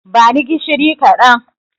Bani gishiri kaɗan